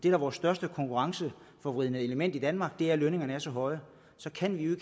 er vores største konkurrenceforvridende element i danmark er at lønningerne er så høje så kan vi jo